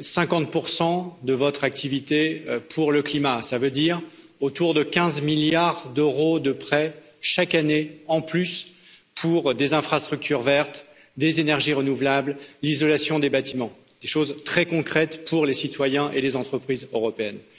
50 de votre activité pour le climat, cela veut dire autour de 15 milliards d'euros de prêts, chaque année, en plus pour des infrastructures vertes, des énergies renouvelables, l'isolation des bâtiments, des choses très concrètes pour les citoyens et les entreprises européennes.